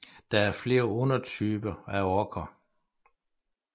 Der er flere undertyper af Orker